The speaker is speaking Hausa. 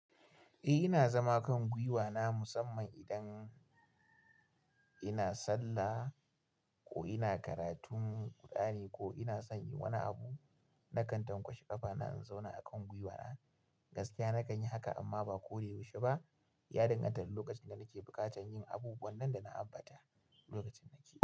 Eh ina zama kan guiwa na musamman idan ina sallah ko ina karatun kur'ani ko ina son yi wani abu na kan tankwashe ƙafa na in zauna a kan guiwa na. Gaskiya na kan yi haka amma ba ko da yaushe ba. Ya danganta da lokacin da nake buƙatan yin abubuwan nan da na ambata lokacin nake.